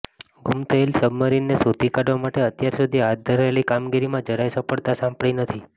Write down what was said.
ગુમ થયેલી સબમરીનને શોધી કાઢવા માટે અત્યાર સુધી હાથ ધરાયેલી કામગીરીમાં જરાય સફળતા સાંપડી નથી